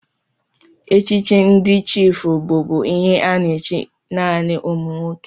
Echichi ndị chiịfụ bụbu ihe a na-echi naanị ụmụ nwoke.